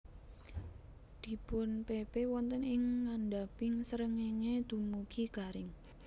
Dipunpepe wonten ing ngandhaping srengéngé dumugi garing